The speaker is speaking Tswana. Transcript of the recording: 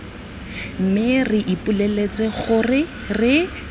mme re ipoleletse gore re